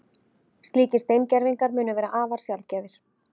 Slíkir steingervingar munu vera afar sjaldgæfir